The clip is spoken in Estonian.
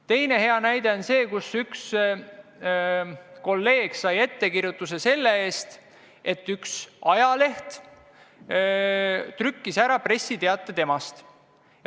Teine hea näide on see, kus üks kolleeg sai ettekirjutuse selle eest, et üks ajaleht trükkis ära pressiteate temast.